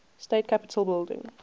state capitol building